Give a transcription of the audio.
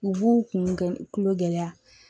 U b'u kunkolo gɛlɛya